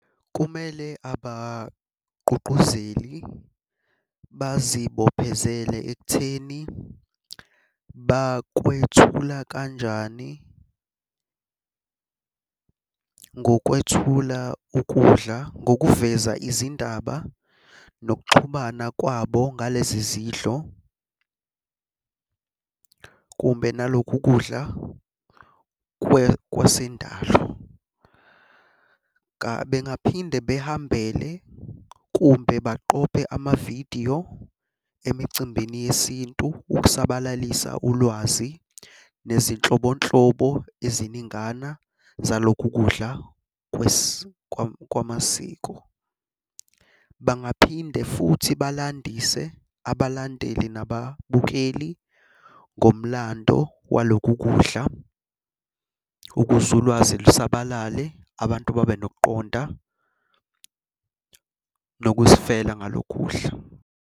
Kumele abagqugquzeli bazibophezele ekutheni bakwethula kanjani. Ngokwethula ukudla ngokuveza izindaba nokuxhumana kwabo ngalezi zidlo kumbe nalokhu kudla kwasendalo. Bengaphinde behambele kumbe baqophe amavidiyo emicimbini yesintu ukusabalalisa ulwazi nezinhlobonhlobo eziningana zalokhu kudla kwamasiko. Bangaphinde futhi balandise abalandeli nababukeli ngomlando walokhu kudla, ukuze ulwazi lusabalale abantu babe nokuqonda nokuzifela ngalokhu kudla.